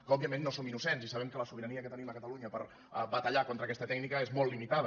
òbviament no som innocents i sabem que la sobirania que tenim a catalunya per batallar contra aquesta tècnica és molt limitada